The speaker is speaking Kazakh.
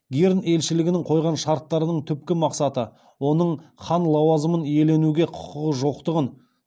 герн елшілігінің қойған шарттарының түпкі мақсаты оның хан лауазымын иеленуге құқығы жоқтығын